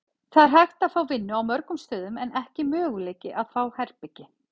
Það er hægt að fá vinnu á mörgum stöðum en ekki möguleiki að fá herbergi.